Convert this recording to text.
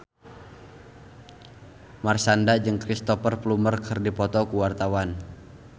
Marshanda jeung Cristhoper Plumer keur dipoto ku wartawan